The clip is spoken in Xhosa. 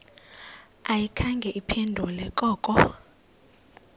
ayikhange iphendule koko